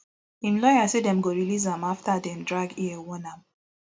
im lawyer say dem release am afta dem drag ear warn am